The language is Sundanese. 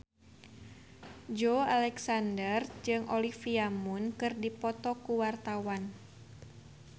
Joey Alexander jeung Olivia Munn keur dipoto ku wartawan